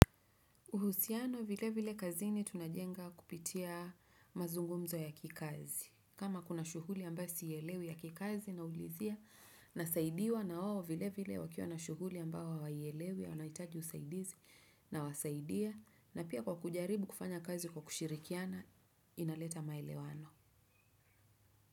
Uhusiano vile vile kazini tunajenga kupitia mazungumzo ya kikazi. Kama kuna shughuli ambayo sielewi ya kikazi naulizia nasaidiwa na wao vile vile wakiwa na shughuli ambayo hawaielewi wanahitaji usaidizi nawasaidia, na pia kwa kujaribu kufanya kazi kwa kushirikiana inaleta maelewano.